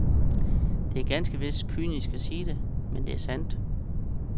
Det er ganske vist kynisk at sige det, men sandt er det.